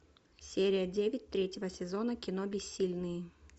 серия девять третьего сезона кино бессильные